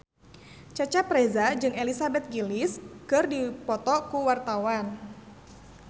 Cecep Reza jeung Elizabeth Gillies keur dipoto ku wartawan